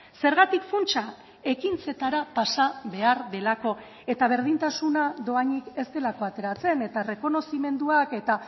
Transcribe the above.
zergatik funtsa ekintzetara pasa behar delako eta berdintasuna dohainik ez delako ateratzen eta errekonozimenduak eta